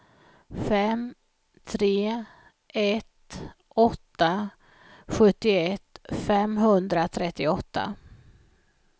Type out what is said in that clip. fem tre ett åtta sjuttioett femhundratrettioåtta